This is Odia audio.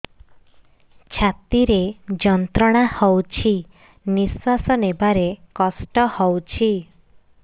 ଛାତି ରେ ଯନ୍ତ୍ରଣା ହଉଛି ନିଶ୍ୱାସ ନେବାରେ କଷ୍ଟ ହଉଛି